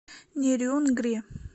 нерюнгри